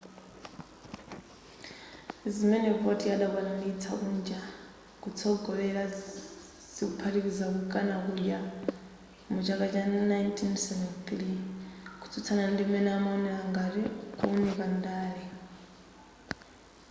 zimene vautier adakwanilitsa kunja kotsogolera zikuphatikiza kukana kudya mu chaka cha 1973 kutsutsana ndi m'mene amawonela ngati kuwunika ndale